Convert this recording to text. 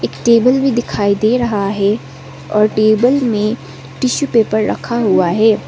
Table भी दिखाई दे रहा हैं और टेबल में टिशु पेपर रखा हुआ हैं।